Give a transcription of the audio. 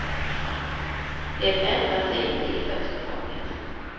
Det ändrar sig inte i första taget.